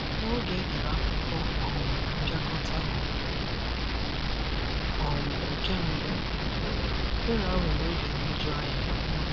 N'oge edere akwụkwọ um mpịakọta um nke mbụ, mbụ, Chidera nwere oge nhụjuanya